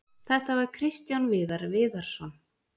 Þetta var Kristján Viðar Viðarsson.